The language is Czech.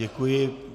Děkuji.